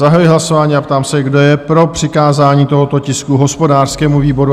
Zahajuji hlasování a ptám se, kdo je pro přikázání tohoto tisku hospodářskému výboru?